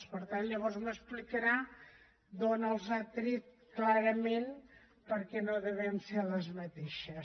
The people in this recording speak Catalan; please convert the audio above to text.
per tant llavors m’explicarà d’on les ha tret clarament perquè no deuen ser les mateixes